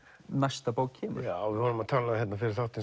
næsta bók kemur já við vorum að tala um fyrir þáttinn